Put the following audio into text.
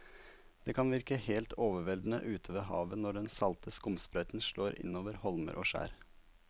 Det kan virke helt overveldende ute ved havet når den salte skumsprøyten slår innover holmer og skjær.